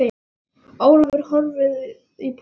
Ólafur horfði í þokuna.